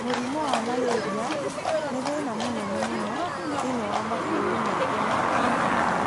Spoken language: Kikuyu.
Mũrimũ wa malaria nĩ thĩna mũnene mũno thĩinĩ wa mabũrũri maingĩ ma Afrika.